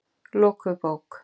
Lokuð bók.